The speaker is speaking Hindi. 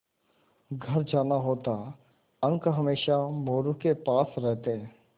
घर जाना होता अंक हमेशा मोरू के पास रहते